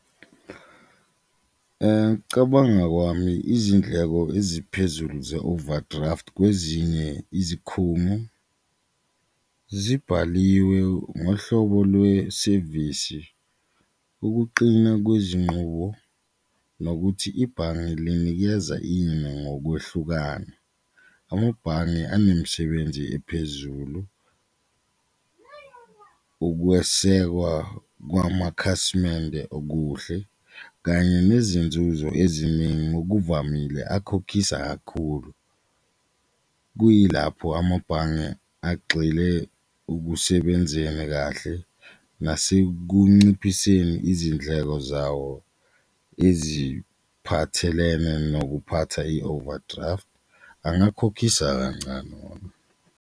Cabanga kwami izindleko eziphezulu ze-overdraft kwezinye izikhumo zibhaliwe ngohlobo lwesevisi, ukuqina kwezinqubo nokuthi ibhange linikeza ini ngokwehlukana, amabhange unemisebenzi ephezulu ukwesekwa kwamakhasimende okuhle kanye nezinzuzo eziningi okuvamile akhokhisa kakhulu. Kuyilapho amabhange agxile okusebenzeni kahle nasekunciphiseni izindleko zawo eziphathelene nokuphatha i-overdraft angakhokhisa kancane.